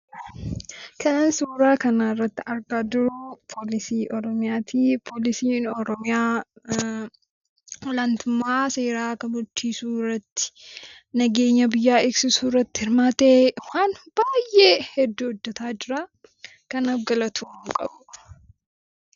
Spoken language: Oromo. Kan suuraa kanarratti argaa jirru Poolisii Oromiyaa ti. Poolisiin Oromiyaa ol aantummaa seeraa kabachiisuu irratti, nageenya biyyaa eegsisuu irratti hirmaatee waan baay'ee hedduu hojjetaa jira. Kanaaf galatoomuu qabu.